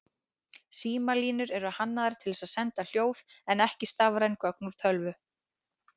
Símalínur eru hannaðar til að senda hljóð en ekki stafræn gögn úr tölvu.